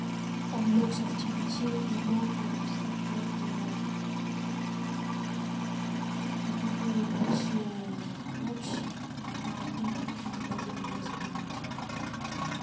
он улёгся в темноте и долго вздыхал и охал наконец захрапел а я предался размышлениям которые во всю ночь ни на одну минуту не дали мне задремать